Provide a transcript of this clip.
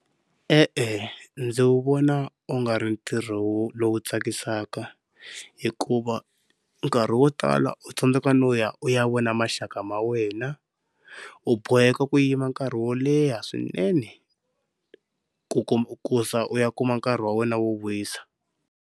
E-e ndzi wu vona u nga ri ntirho lowu tsakisaka, hikuva nkarhi wo tala u tsandzeka no ya u ya vona maxaka ma wena u boheka ku yima nkarhi wo leha swinene ku kuma ku za u ya kuma nkarhi wa wena wo wisa.